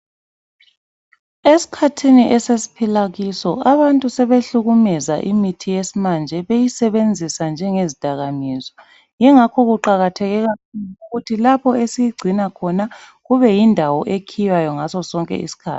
Esikhathini esesiphila kiso abantu sebehlukumeza imithi yesimanje, beyisebenzisa njengezidakamizwa. Yingakho kuqakatheke kakhulu ukuthi lapho esiyigcina khona kubeyindawo ekhiywayo ngasosonke isikhathi.